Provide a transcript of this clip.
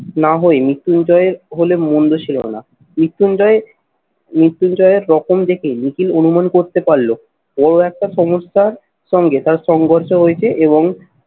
না হয়ে মৃত্যুঞ্জয় হলে মন্দ ছিল না। মৃত্যুঞ্জয় মৃত্যুঞ্জয়ের প্রথম দেখে নিখিল অনুমান করতে পারল বড় একটা সংস্থার সঙ্গে তার সংঘর্ষ হয়েছে এবং